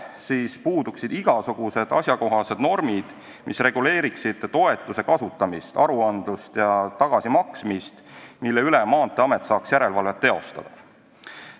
Samas puuduksid igasugused asjakohased normid, mis reguleeriksid toetuse kasutamist, aruandlust ja tagasimaksmist, mille üle saaks Maanteeamet järelevalvet teostada.